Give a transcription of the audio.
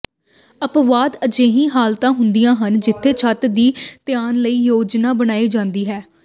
ਅਪਵਾਦ ਅਜਿਹੀਆਂ ਹਾਲਤਾਂ ਹੁੰਦੀਆਂ ਹਨ ਜਿੱਥੇ ਛੱਤ ਦੀ ਤਨਾਅ ਲਈ ਯੋਜਨਾ ਬਣਾਈ ਜਾਂਦੀ ਹੈ